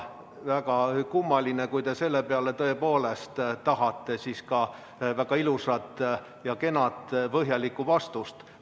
Väga kummaline, kui te selle peale tõepoolest tahate väga ilusat ja kena põhjalikku vastust.